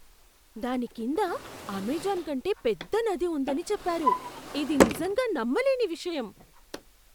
దాని కింద అమెజాన్ కంటే పెద్ద నది ఉందని చెప్పారు. ఇది నిజంగా నమ్మలేని విషయం!